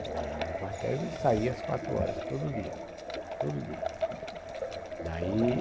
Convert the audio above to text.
Lá eu ia no quartel e saía às quatro horas, todo dia, todo dia. Daí